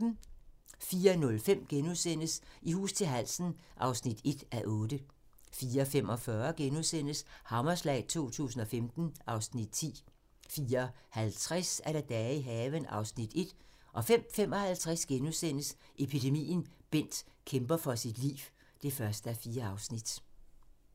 04:05: I hus til halsen (1:8)* 04:45: Hammerslag 2015 (Afs. 10)* 04:50: Dage i haven (Afs. 1) 05:55: Epidemien - Bent kæmper for sit liv (1:4)*